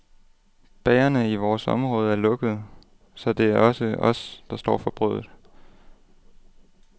Bagerne i vores område er lukkede, så det er også os, der står for brødet.